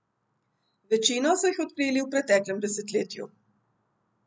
Večino so jih odkrili v preteklem desetletju.